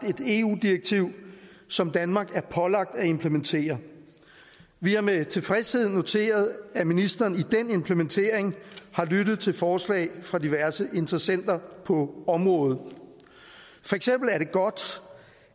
et eu direktiv som danmark er pålagt at implementere vi har med tilfredshed noteret at ministeren i den implementering har lyttet til forslag fra diverse interessenter på området for eksempel er det godt